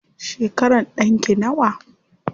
Shekaran ɗanki nawa?